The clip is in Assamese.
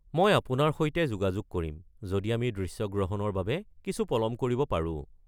মই আপোনাৰ সৈতে যোগাযোগ কৰিম যদি আমি দৃশ্যগ্ৰহণৰ বাবে কিছু পলম কৰিব পাৰো।